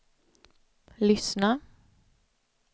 lyssna